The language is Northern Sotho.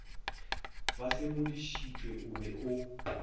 ba sedimošitšwe o be o